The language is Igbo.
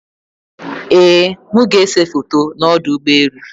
Ee m ga-ese foto na ọdụ ụgbọelụ